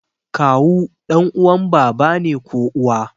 Kawu ɗan uwan baba ne ko uwa